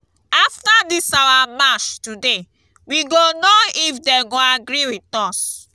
after dis our march today we go know if dey go agree with us